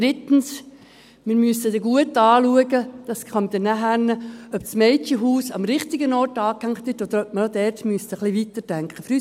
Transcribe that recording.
Drittens: Wir müssen dann gut schauen – das kommt dann später –, ob das Mädchenhaus am richtigen Ort angehängt ist, oder ob man auch dort etwas weiterdenken müsste.